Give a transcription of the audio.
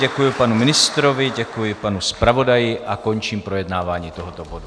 Děkuji panu ministrovi, děkuji panu zpravodaji a končím projednávání tohoto bodu.